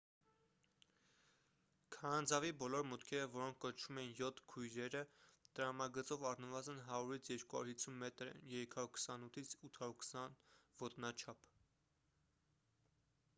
քարանձավի բոլոր մուտքերը որոնք կոչվում էին «յոթ քույրերը» տրամագծով առնվազն 100-250 մետր են 328-820 ոտնաչափ: